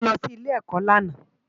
Ade ó lò si Ilé-èkò làná